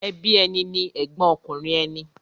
Ẹbí ẹni ni ẹ̀gbọ́n ọkùnrin ẹni.